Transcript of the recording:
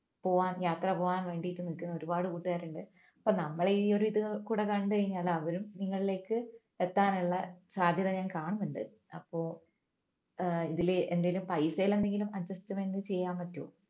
പോവാൻ യാത്ര പോകാൻ വേണ്ടി നിൽക്കുന്ന ഒരുപാട് കൂട്ടുകാരുണ്ട് അപ്പോൾ നമ്മൾ ഈ ഒരു ഇതുകൂടെ കണ്ടു കഴിഞ്ഞാൽ അവരും നിങ്ങളിലെക്ക് എത്താനുള്ള സാധ്യത ഞാൻ കാണുന്നുണ്ട് അപ്പോൾ ഏർ ഇതില് എന്തേലും പൈസയിൽ എന്തെങ്കിലും adjustment ചെയ്യാൻ പറ്റുവോ